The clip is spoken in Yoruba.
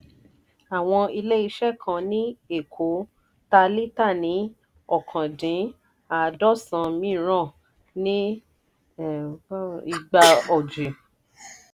àwọn ilé-iṣẹ́ kan ní èkó tà líta ní ọ̀kan dín àádọ́sán míìràn ní igba ọjì.